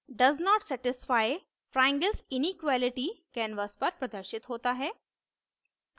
does not satisfy triangle s inequality canvas पर प्रदर्शित होता है